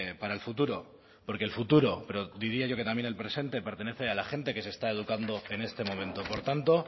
para el futuro porue el futuro pero diría yo que también el presente pertenece a la gente que se está educando en este momento por tanto